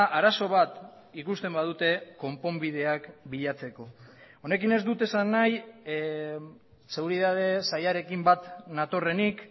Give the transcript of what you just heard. arazo bat ikusten badute konponbideak bilatzeko honekin ez dut esan nahi seguritate sailarekin bat natorrenik